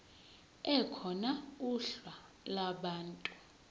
ekhona uhla lwabantu